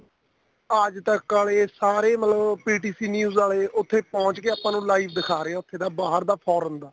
ਆਜ ਤੱਕ ਵਾਲੇ ਸਾਰੇ ਮਤਲਬ PTC news ਵਾਲੇ ਉੱਥੇ ਪਹੁੰਚ ਕੇ ਆਪਾਂ ਨੂੰ live ਦਿਖਾ ਰਹੇ ਉੱਥੇ ਦਾ ਬਾਹਰ ਦਾ foreign ਦਾ